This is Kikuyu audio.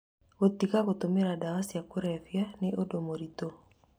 Gũtiga gũtũmĩra ndawa cia kũrebia nĩ ũndũ mũritũ,